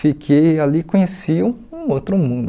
Fiquei ali e conheci um outro mundo.